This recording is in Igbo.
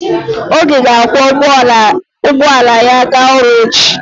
Oge ga-akwọ ụgbọala ya ga n'ọrụ echi.